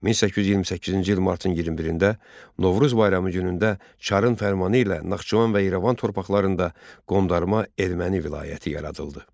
1828-ci il martın 21-də Novruz bayramı günündə Çarın fərmanı ilə Naxçıvan və İrəvan torpaqlarında qondarma Erməni vilayəti yaradıldı.